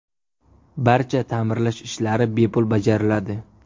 Barcha ta’mirlash ishlari bepul bajariladi.